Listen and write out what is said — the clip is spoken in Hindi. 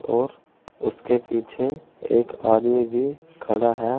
और उसके पीछे एक आदमी भी खड़ा है।